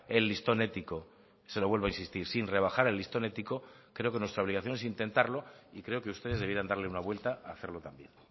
el listón ético se lo vuelvo a insistir sin rebajar el listón ético creo que nuestra obligación es intentarlo y creo que ustedes debieran darle una vuelta a hacerlo también